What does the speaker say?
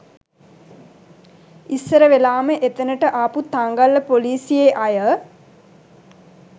ඉස්සර වෙලාම එතැනට ආපු තංගල්ල ‍පොලිසියේ අය